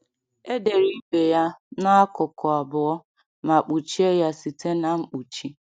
Edere ibe ya n’akụkụ abụọ ma kpuchie ya site na mkpuchi.